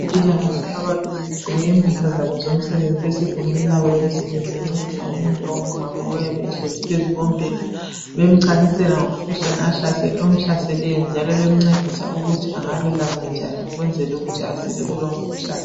Abezempilakahle ababili begqoke izimpahla zabo zomsebenzi besegumbini labo lomsebenzi bencedisa umuntu ongumama oyabe ehlezi phezu kombheda bemchasisela ngomkhuhlane omhlaseleyo njalo bemncedisa ukuthi angalulama njani ukwenzela ukuthi asile kulowo mkhuhlane.